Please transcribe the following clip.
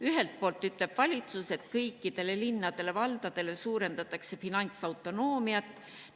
Ühelt poolt ütleb valitsus, et kõikidel linnadel-valdadel suurendatakse finantsautonoomiat.